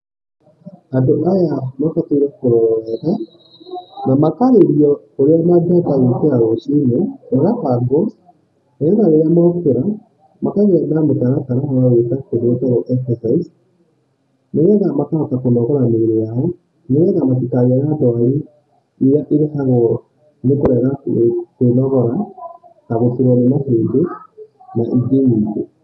Andũ aya mabataire kũrorwo wega na makaarĩrio ũrĩa mangĩhota gũkĩra rũcini, magabangwo, nĩgetha rĩrĩa mokĩra makagĩa na mũtaratara wagwĩka kĩndũ gĩtagwo exercise nĩgetha makahota kũnogora mĩĩrĩ yao, nĩgetha matikagĩe na ndwari iria irehagwo nikũrega kwĩnogora , ta gũtuurwo nĩ mahĩndĩ na ingĩ nyingĩ.